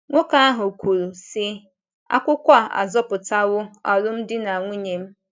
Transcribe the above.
Nwoke ahụ kwuru, sị: “ akwụkwọ a azọpụtawo alụmdi na nwunye m! ”